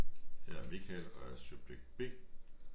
Jeg er Michael og er subjekt B